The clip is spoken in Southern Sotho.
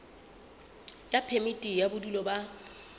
ya phemiti ya bodulo ba